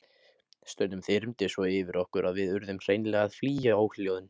Stundum þyrmdi svo yfir okkur að við urðum hreinlega að flýja óhljóðin.